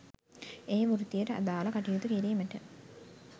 ඒ වෘත්තියට අදාළ කටයුතු කිරීමට